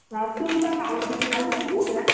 ଅଁ ତୁ ତା ବାହାଘରକୁ କଣ ଦବୁ?